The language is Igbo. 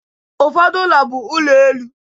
Ụfọdụ ụlọ bụ ụlọ elu